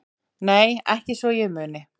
Nei ekki svo ég muni